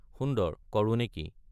সুন্দৰ—কৰো নেকি?